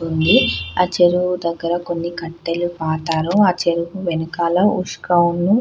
ఉంది ఆ చెరువు దగ్గర కొన్ని కట్టెలు పాతాలు ఆ చెరువు వెనకాల --